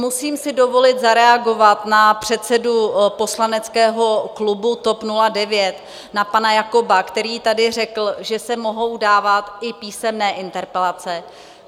Musím si dovolit zareagovat na předsedu poslaneckého klubu TOP 09 na pana Jakoba, který tady řekl, že se mohou dávat i písemné interpelace.